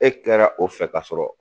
E kɛra o fɛ ka sɔrɔ.